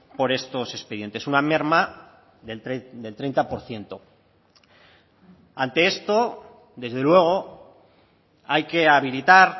por estos expedientes una merma del treinta por ciento ante esto desde luego hay que habilitar